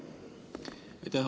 Aitäh!